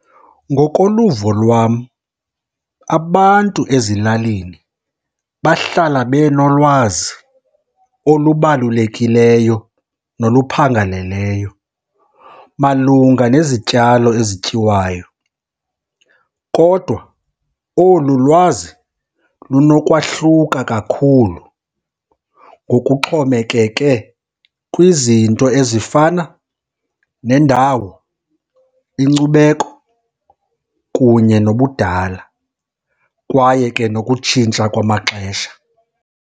Ngokoluvo lwam, abantu ezilalini bahlala benolwazi olubalulekileyo noluphangaleleyo malunga nezityalo ezityiwayo. Kodwa olu lwazi lunokwahluka kakhulu ngokuxhomekeke kwizinto ezifana nendawo, inkcubeko kunye nobudala, kwaye ke nokutshintsha kwamaxesha.